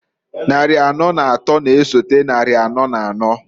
Nnarị anọọ n'atọọ n'esote nnari anọọ n'anọọ,